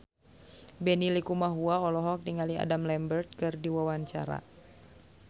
Benny Likumahua olohok ningali Adam Lambert keur diwawancara